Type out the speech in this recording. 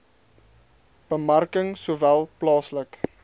bemarking sowel plaaslik